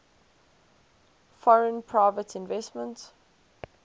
foreign private investment